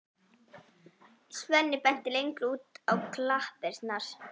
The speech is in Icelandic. Svenni benti lengra út á klappirnar.